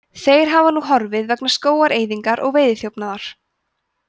þeir hafa nú horfið vegna skógaeyðingar og veiðiþjófnaðar